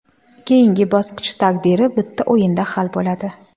Keyingi bosqich taqdiri bitta o‘yinda hal bo‘ladi.